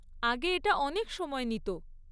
আগে এটা অনেক সময় নিত।